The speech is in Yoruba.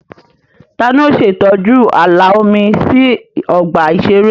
Ta ni ó ń ṣe ìtọ́jú ààlà omi ní ọgbà ìṣeré?